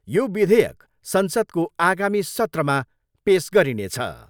यो विधोयक संसदको आगामी सत्रमा पेस गरिनेछ।